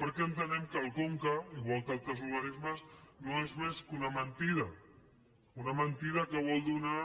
perquè entenem que el conca igual que altres organismes no és més que una men·tida una mentida que vol donar